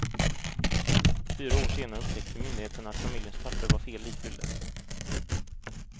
Fyra år senare upptäckte myndigheterna att familjens papper var fel ifyllda.